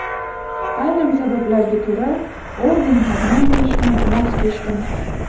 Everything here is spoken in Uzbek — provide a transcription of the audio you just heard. Ayrim sabablarga ko‘ra, organ xodimi bo‘lishdan voz kechdim.